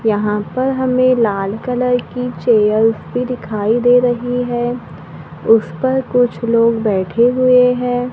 यहां पर हमें लाल कलर की चेयर्स भी दिखाई दे रही है उस पर कुछ लोग बैठे हुए हैं।